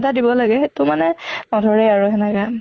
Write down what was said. এটা দিব লাগে সেইটো মানে নধৰে আৰু সেনেকে